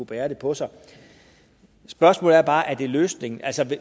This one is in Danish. bære den på sig spørgsmålet er bare er det løsningen altså